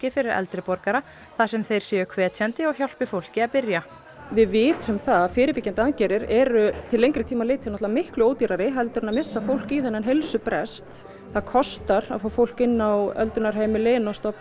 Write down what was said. fyrir eldri borgara þar sem þeir séu hvetjandi og hjálpi fólki að byrja við vitum það að fyrirbyggjandi aðgerðir eru til lengri tíma litið náttúrulega miklu ódýrari heldur en að missa fólk í þennan heilsubrest það kostar að fá fólk inn á öldrunarheimili og stofnanir